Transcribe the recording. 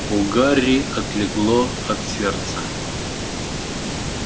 у гарри отлегло от сердца